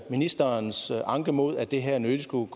ministerens anke mod at det her nødig skulle